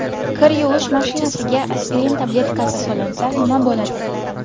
Kir yuvish mashinasiga aspirin tabletkasi solinsa nima bo‘ladi?.